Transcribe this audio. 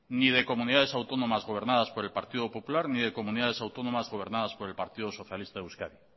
ni de comunidades autónomas gobernadas por el partido popular ni de comunidades autónomas gobernadas por el